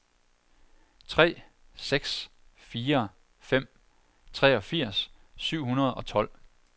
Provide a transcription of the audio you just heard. tre seks fire fem treogfirs syv hundrede og tolv